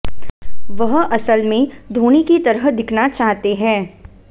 वह असल में धोनी की तरह दिखना चाहते है